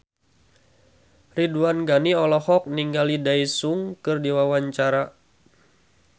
Ridwan Ghani olohok ningali Daesung keur diwawancara